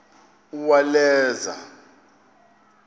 uwaleza